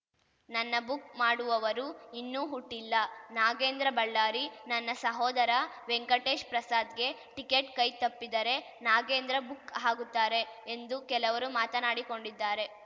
ನನ್ನ ಬುಕ್‌ ಮಾಡುವವರು ಇನ್ನೂ ಹುಟ್ಟಿಲ್ಲ ನಾಗೇಂದ್ರ ಬಳ್ಳಾರಿ ನನ್ನ ಸಹೋದರ ವೆಂಕಟೇಶ್‌ ಪ್ರಸಾದ್‌ಗೆ ಟಿಕೆಟ್‌ ಕೈ ತಪ್ಪಿದರೆ ನಾಗೇಂದ್ರ ಬುಕ್‌ ಆಗುತ್ತಾರೆ ಎಂದು ಕೆಲವರು ಮಾತನಾಡಿಕೊಂಡಿದ್ದಾರೆ